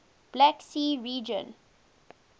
black sea region